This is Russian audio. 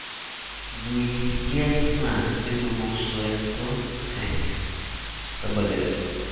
ну естественно ты думал что я кто ха соболезную